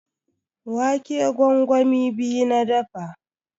Wake gwangwami biyu na dafa.